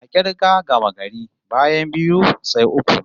A k'irgar gamagari, bayan biyu, sai uku